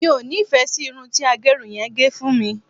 mi o nifẹ sí Irun ti agerun yen ge fún mi